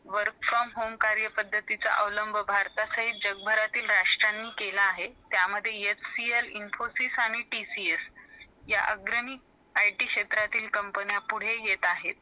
work from home कार्याचा अवलंभ भरताच जगभरातील राष्ट्रीय नि केला आहे त्यामधे htl , Infosys आणि TCS या आघरणी IT क्षेत्रातील company पुढे येत आहेत